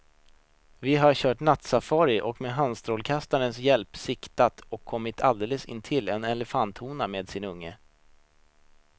Vi har kört nattsafari och med handstrålkastarens hjälp siktat och kommit alldeles intill en elefanthona med sin unge.